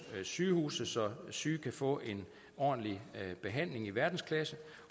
sygehuse så syge kan få en ordentlig behandling i verdensklasse